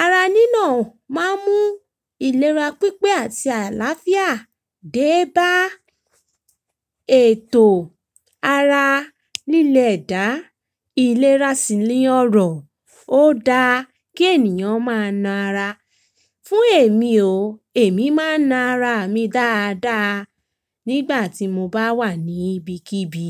Ara nína máa ń mú ìlera pípé àti àlàáfíà dé bá ètò ara lílè edá, ìlera sì ni ọrọ̀. Ó da kí ènìyàn máa na ara. Fún èmi o, èmi máa n na ara mi dáadáa nígbà tí mo bá wà ní ibikíbi.